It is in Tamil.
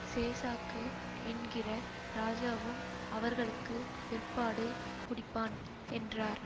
சேசாக்கு என்கிற ராஜாவும் அவர்களுக்கு பிற்பாடு குடிப்பான் என்றார்